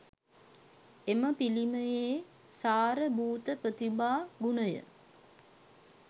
එම පිළිමයේ සාර භූත ප්‍රතිභා ගුණය